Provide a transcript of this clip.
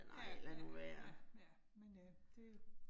Ja ja ja ja, men øh det jo